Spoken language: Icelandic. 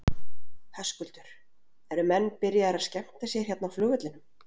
Höskuldur: Eru menn byrjaðir að skemmta sér hérna á flugvellinum?